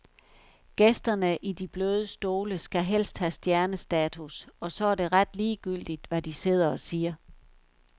Gæsterne i de bløde stole skal helst have stjernestatus, og så er det ret ligegyldigt hvad de sidder og siger.